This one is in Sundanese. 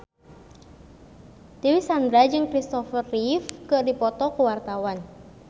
Dewi Sandra jeung Kristopher Reeve keur dipoto ku wartawan